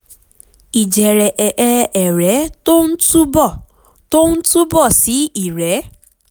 ìjẹ̀rẹ̀ ẹ̀ ẹ̀ ẹ̀rẹ́ tó ń túbọ̀ tó ń túbọ̀ sí ìrẹ́